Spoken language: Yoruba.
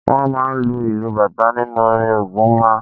Wọ́n máa ń lu ìlù bàtà nínú orin Ògún máa ń